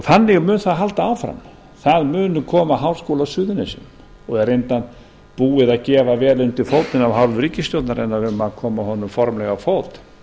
þannig mun það halda áfram það mun koma háskóli á suðurnesjum og er reyndar búið að gefa vel undir fótinn af hálfu ríkisstjórnarinnar að koma honum formlega á fót